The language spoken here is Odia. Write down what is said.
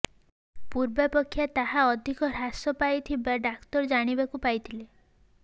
ପୂର୍ବାପେକ୍ଷା ତାହା ଅଧିକ ହ୍ରାସ ପାଇଥିବା ଡାକ୍ତର ଜାଣିବାକୁ ପାଇଥିଲେ